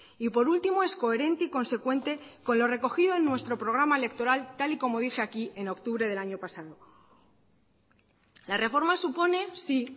y por último es coherente y consecuente con lo recogido en nuestro programa electoral tal y como dije aquí en octubre del año pasado la reforma supone sí